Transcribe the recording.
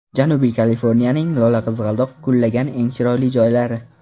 Janubiy Kaliforniyaning lolaqizg‘aldoq gullagan eng chiroyli joylari .